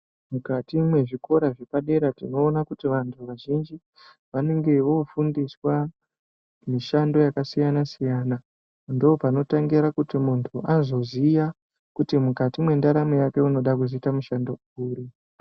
Mukati mezvikora zvepadera zvinoona kuti vantu vazhinji vanenge vofundiswa mishando yakasiyana siyana ndopanotangira kuti muntu azoziya kuti mukati mentaramo yake unoda kuzoita mushando uri.